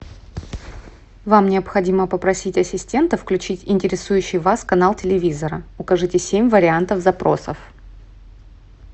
вам необходимо попросить ассистента включить интересующий вас канал телевизора укажите семь вариантов запросов